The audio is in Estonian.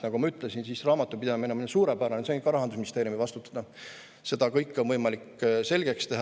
Nagu ma ütlesin, raamatupidamine on meil suurepärane – see on ka Rahandusministeeriumi vastutada – ja seda kõike on võimalik selgeks teha.